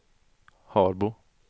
Harbo